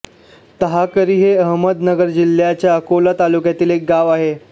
टाहाकरी हे अहमदनगर जिल्ह्याच्या अकोले तालुक्यातील एक गाव आहे